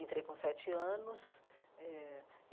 Entrei com sete anos eh.